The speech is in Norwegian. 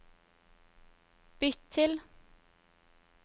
bytt til